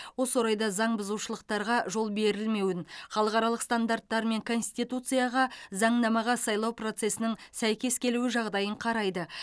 осы орайда заң бұзушылықтарға жол берілмеуін халықаралық стандарттар мен конституцияға заңнамаға сайлау процесінің сәйкес келуі жағдайын қарайды